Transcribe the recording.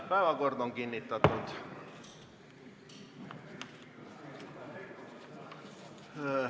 Päevakord on kinnitatud.